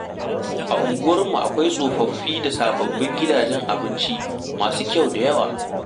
A unguwarmu akwai tsofaffi da sababbin gidajen abinci masu kyau da yawa.